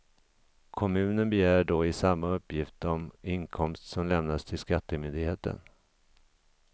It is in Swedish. Kommunen begär då in samma uppgift om inkomst som lämnas till skattemyndigheten.